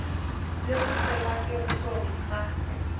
le go tsenngwa tirisong ga